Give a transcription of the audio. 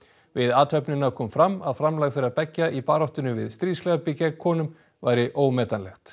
við athöfnina kom fram að framlag þeirra beggja í baráttunni við stríðsglæpi gegn konum væri ómetanlegt